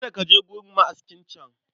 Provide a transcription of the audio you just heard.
Kada ka je gun ma'askin can